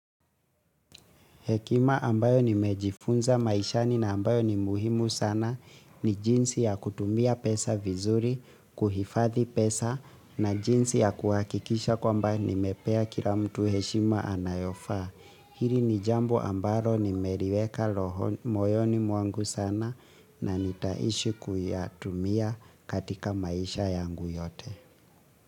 Hekima ambayo ni mejifunza maishani na ambayo ni muhimu sana ni jinsi ya kutumia pesa vizuri, kuhifadhi pesa na jinsi ya kuakikisha kwamba ni mepea kila mtu heshima anayofaa. Hili ni jambo ambaro ni meriweka moyoni mwangu sana na nitaishi kuyatumia katika maisha yangu yote.